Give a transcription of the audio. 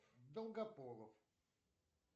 долгополов